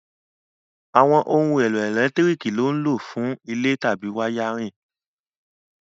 Àwọn ohun èlò ẹ̀lẹ́tíríkì lọ́ n lò fún ilé tàbí wáyárìn